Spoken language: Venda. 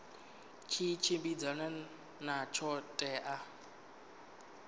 tshi tshimbidzana na ṱho ḓea